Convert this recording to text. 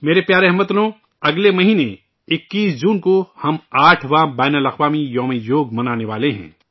میرے پیارے اہل وطن، اگلے مہینے 21 جون کو ہم آٹھواں ' یوگ کا بین الاقوامی دن ' منانے والے ہیں